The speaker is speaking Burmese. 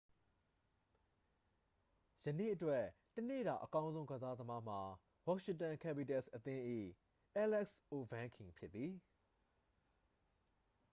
ယနေ့အတွက် တစ်နေ့တာအကောင်းဆုံး ကစားသမားမှာ washington capitals အသင်း၏ အဲလက်စ်အိုဗန်းကင် ဖြစ်သည်